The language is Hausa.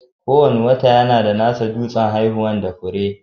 Kowane wata yana da nasa dutsen haifuwa da fure.